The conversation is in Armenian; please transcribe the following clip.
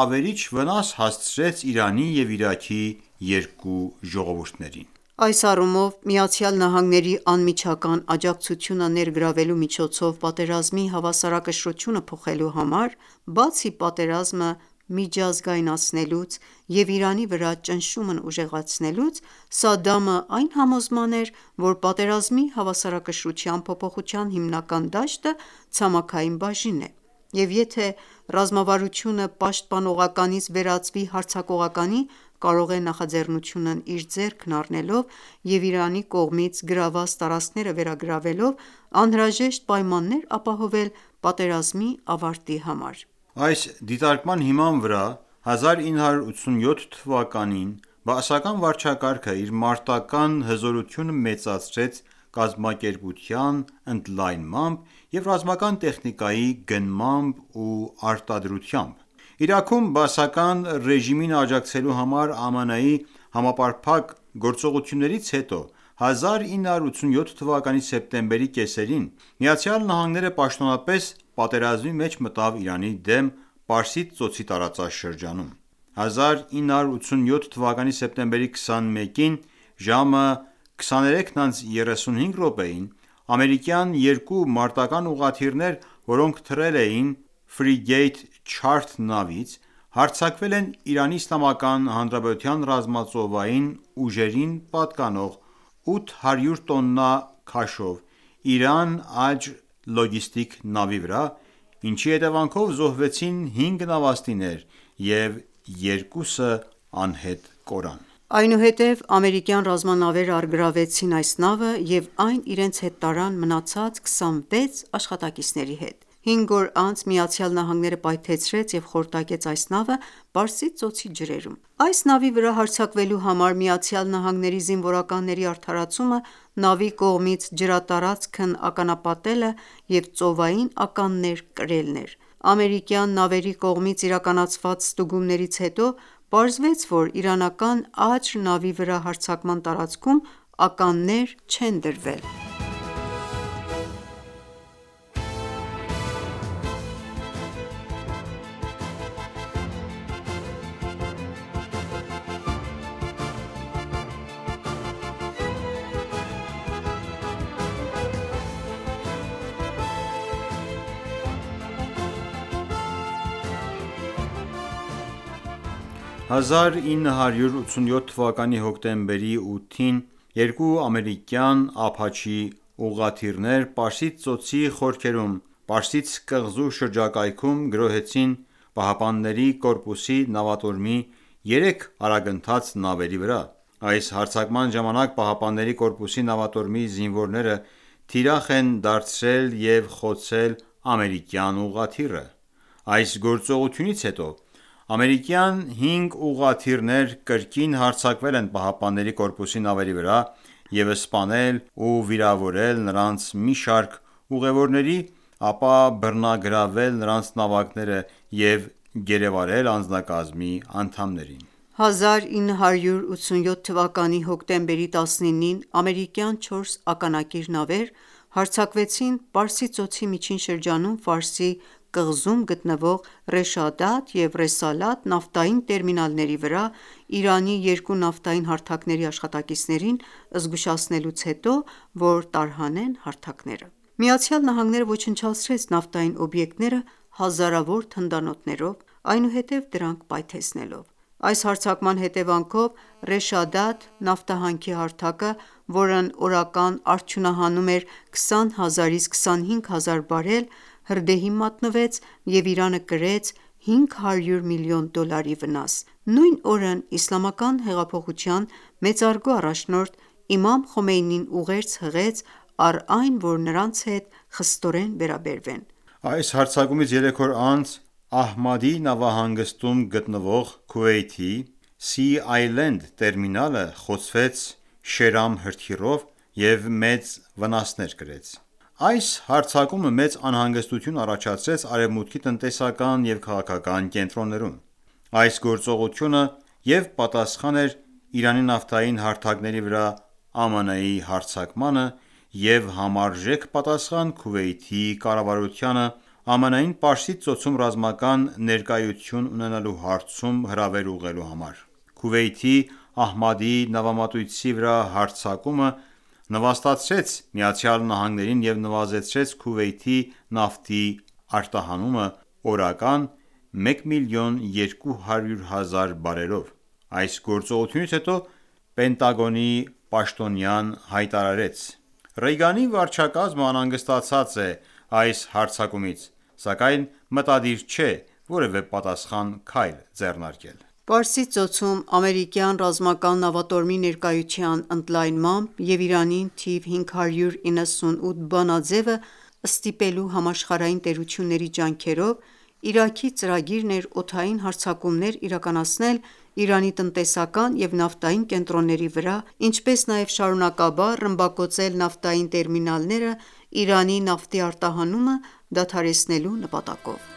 ավերիչ վնաս հասցրեց Իրանի և Իրաքի երկու ժողովուրդներին։ Այս առումով, ԱՄՆ-ի անմիջական աջակցությունը ներգրավելու միջոցով պատերազմի հավասարակշռությունը փոխելու համար, բացի պատերազմը միջազգայնացնելուց և Իրանի վրա ճնշումն ուժեղացնելուց, Սադդամը այն համոզման էր, որ պատերազմի հավասարակշռության փոփոխության հիմնական դաշտը ցամաքային բաժինն է, և եթե ռազմավարությունը պաշտպանողականից վերածվի հարձակողականի, կարող է նախաձեռնությունն իր ձեռքն առնելով և իրանի կողմից գրավված տարածքները վերագրավելով անհրաժեշտ պայմաններ ապահովել պատերազմի ավարտի համար: Այս դիտարկման հիման վրա 1987 թվականին բաասական վարչակարգը իր մարտական ​​հզորությունը մեծացրեց կազմակերպության ընդլայնմամբ և ռազմական տեխնիկայի գնմամբ ու արտադրությամբ։ Իրաքում բաասական ռեժիմին աջակցելու համար ԱՄՆ-ի համապարփակ գործողություններից հետո, 1987 թվականի սեպտեմբերի կեսերին ԱՄՆ-ն պաշտոնապես պատերազմի մեջ մտավ Իրանի դեմ Պարսից ծոցի տարածաշրջանում: 1987 թվականի սեպտեմբերի 21-ին, ժամը 23:35-ին, ամերիկյան երկու մարտական ​​ուղղաթիռներ, որոնք թռել էին Չարթ նավից, հարձակվել են ԻԻՀ-ի ռազմածովային ուժերին պատկանող 800 տոննա քաշով «Իրան Աջր» լոգիստիկ նավի վրա ինչի հետևանով զոհվեցին 5 նավաստիներ և երկուսը անհետ կորան։ Այնուհետև ամերիկյան ռազմանավերը առգրավեցին այս նավը և այն իրենց հետ տարան մնացած 26 աշխատակիցների հետ։ 5 օր անց ԱՄՆ ​​պայթեցրեց և խորտակեց այս նավը Պարսից ծոցի ջրերում։ Այս նավի վրա հարձակվելու համար ԱՄՆ զինվորականների արդարացումը նավի կողմից ջրատարածքն ականապատելը և ծովային ականներ կրելն էր։ Ամերիկյան նավերի կողմից իրականացված ստուգումներից հետո պարզվեց, որ իրանական «Աջր» նավի վրա հարձակման տարածքում ականներ չեն դրվել։ 1987 թվականի հոկտեմբերի 8-ին երկու ամերիկյան Apache ուղղաթիռներ Պարսից ծոցի խորքերում Պարսից կղզու շրջակայքում գրոհեցին ԻՀՊԿ-ի նավատորմի երեք արագընթաց նավերի վրա: Այս հարձակման ժամանակ ԻՀՊԿ-ի նավատորմի զինվորները թիրախ են դարձրել և խոցել ամերիկյան ուղղաթիռը։ Այս գործողությունից հետո ամերիկյան 5 ուղղաթիռներ կրկին հարձակվել են ԻՀՊԿ-ի նավերի վրա և սպանել ու վիրավորել նրանց մի շարք ուղևորների, ապա բռնագրավել նրանց նավակները և գերեվարել անձնակազմի անդամներին: 1987 թվականի հոկտեմբերի 19-ին ամերիկյան չորս ականակիր նավեր հարձակվեցին Պարսից ծոցի միջին շրջանում Ֆարսի կղզում գտնվող Ռեշադաթ և Ռեսալաթ նավթային տերմինալների վրա՝ Իրանի երկու նավթային հարթակների աշխատակիցներին զգուշացնելուց հետո, որ տարհանեն հարթակները: ԱՄՆ-ն ոչնչացրեց նավթային օբյեկտները հազարավոր թնդանոթներով, այնուհետև դրանք պայթեցնելով։ Այս հարձակման հետևանքով Ռեշադաթ նավթահանքի հարթակը, որն օրական արդյունահանում էր 20000-ից 25000 բարել, հրդեհի մատնվեց և Իրանը կրեց 500 մլն դոլարի վնաս։ Նույն օրն Իսլամական հեղափոխության մեծարգո առաջնորդ Իմամ Խոմեյնին ուղերձ հղեց, առ այն որ նրանց հետ խստորեն վերաբերվեն: Այս հարձակումից երեք օր անց Ահմադի նավահանգստում գտնվող Քուվեյթի «Սի Այլենդ» տերմինալը խոցվեց Շերամ հրթիռով և մեծ վնասներ կրեց: Այս հարձակումը մեծ անհանգստություն առաջացրեց Արեւմուտքի տնտեսական եւ քաղաքական կենտրոններում։ Այս գործողությունը և՛ պատասխան էր Իրանի նավթային հարթակների վրա ԱՄՆ-ի հարձակմանը, և՛ համարժեք պատասխան Քուվեյթի կառավարությանը՝ ԱՄՆ-ին Պարսից ծոցում ռազմական ներկայության ունենալու հարցում հրավեր ուղղելու համար: Քուվեյթի Ահմադի նավամատույցի վրա հարձակումը նվաստացրեց ԱՄՆ-ին ​​և նվազեցրեց Քուվեյթի նավթի արտահանումը օրական 1,200,000 բարելով: Այս գործողությունից հետո Պենտագոնի պաշտոնյան հայտարարեց.«Ռեյգանի վարչակազմն անհանգստացած է այս հարձակումից, սակայն մտադիր չէ որևէ պատասխան քայլ ձեռնարկել»։ Պարսից ծոցում ամերիկյան ռազմական նավատորմի ներկայության ընդլայնմամբ և Իրանին թիվ 598 բանաձևը ստիպելու համաշխարհային տերությունների ջանքերով, Իրաքի ծրագիրն էր օդային հարձակումներ իրականացնել Իրանի տնտեսական և նավթային կենտրոնների վրա, ինչպես նաև շարունակաբար ռմբակոծել նավթային տերմինալները՝ Իրանի նավթի արտահանումը դադարեցնելու նպատակով: